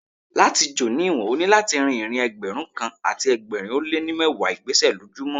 Láti jò ní ìwọ̀n, o ní láti rín ìrìn Ẹgbẹ̀rún kan àti ẹgbẹ̀rin ó lé ní mẹ́wàá ìgbésẹ̀ lójú mọ́.